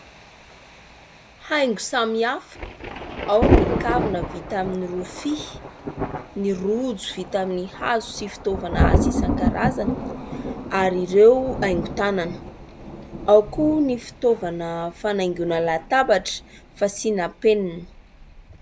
Haingo samihafa : ao ny kavina vita amin'ny rofia, ny rojo vita amin'ny hazo sy fitaovana asa isan-karazany ary ireo haingon-tanana, ao koa ny fitaovana fanaingoana latabatra, fasiana penina.